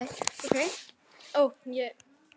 Heiða lá á fína dívaninum og argaði og gargaði.